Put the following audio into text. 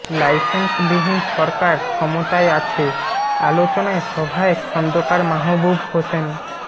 লাইসেন্সবিহীন সরকার ক্ষমতায় আছে আলোচনায় সভায় খন্দকার মাহবুব হোসেন